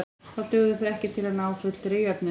Þá dugðu þau ekki til að ná fullri jöfnun.